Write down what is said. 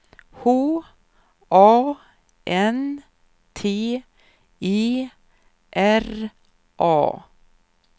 H A N T E R A